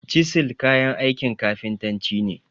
Cisil kayan aikin kafintanci ne.